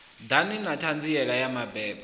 ḓa na ṱhanziela ya mabebo